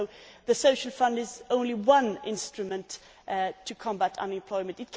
So the Social Fund is only one instrument to combat unemployment.